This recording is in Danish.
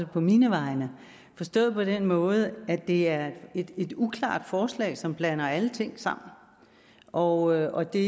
på mine vegne forstået på den måde at det er et uklart forslag som blander alle ting sammen og og det